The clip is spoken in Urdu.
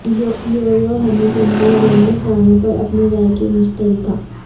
یو یو ہنی سنگھ نے ریمیک گانوں پر اپنی رائے کی مشترکہ